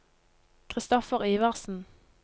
Kristoffer Iversen